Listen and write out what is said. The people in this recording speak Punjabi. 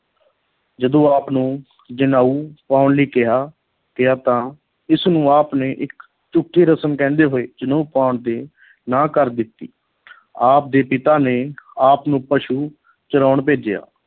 ਜਦੋਂ ਆਪ ਨੂੰ ਜਨੇਊ ਪਾਉਣ ਲਈ ਕਿਹਾ ਕਿਹਾ ਤਾਂ ਇਸ ਨੂੰ ਆਪ ਨੇ ਇੱਕ ਝੂਠੀ ਰਸਮ ਕਹਿੰਦੇ ਹੋਏ ਜਨੇਊ ਪਾਉਣ ਤੇ ਨਾਂਹ ਕਰ ਦਿੱਤੀ ਆਪ ਦੇ ਪਿਤਾ ਨੇ ਆਪ ਨੂੰ ਪਸ਼ੂ ਚਰਾਉਣ ਭੇਜਿਆ